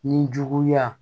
Ni juguya